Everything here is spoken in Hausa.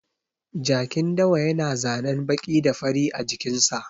Jakin dawa ya na zanen baƙi da fari a jikin sa